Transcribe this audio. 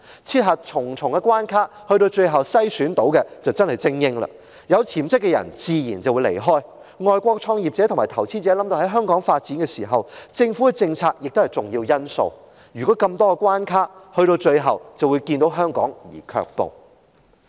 設下重重關卡，經重重篩選剩下來的自然是精英，有潛質的人自然會離開香港，外國創業者和投資者想到香港發展，政府的政策也是重要的考慮因素，但面對如此重重關卡，他們最終只會望香港而卻步。